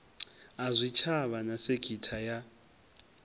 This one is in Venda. a zwitshavha na sekitha ya